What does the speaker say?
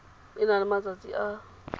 e na le malatsi a